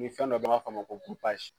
fɛn dɔ an b'a fɔ ma ko